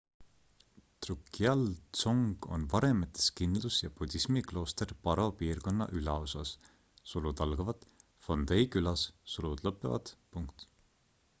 drukgyal dzong on varemetes kindlus ja budismi klooster paro piirkonna ülaosas phondey külas